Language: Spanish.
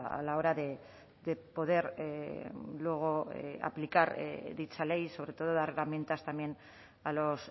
a la hora de poder luego aplicar dicha ley sobre todo dar herramientas también a los